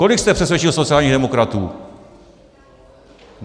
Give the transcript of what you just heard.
Kolik jste přesvědčil sociálních demokratů?